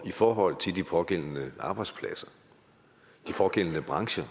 forhold til de pågældende arbejdspladser de pågældende brancher